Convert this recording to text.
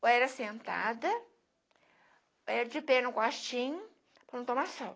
Ou era sentada, ou era de pé no quartinho para não tomar sol.